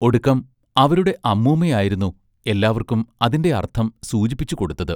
ഒടുക്കം അവരുടെ അമൂമ്മയായിരുന്നു എല്ലാവർക്കും അതിന്റെ അർത്ഥം സൂചിപ്പിച്ചു കൊടുത്തത്.